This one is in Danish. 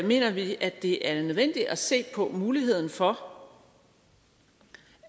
mener vi at det er nødvendigt at se på muligheden for